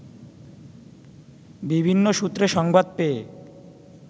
বিভিন্ন সূত্রে সংবাদ পেয়ে